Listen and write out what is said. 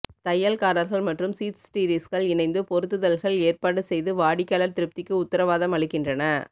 தையல்காரர்கள் மற்றும் சீட்ஸ்டிரீஸ்கள் இணைந்து பொருத்துதல்கள் ஏற்பாடு செய்து வாடிக்கையாளர் திருப்திக்கு உத்திரவாதம் அளிக்கின்றன